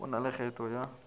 go na le kgetho ya